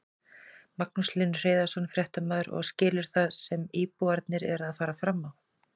Magnús Hlynur Hreiðarsson, fréttamaður: Og skilurðu það sem íbúarnir eru að fara fram á?